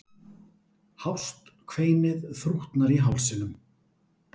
Hást kveinið þrútnar í hálsinum.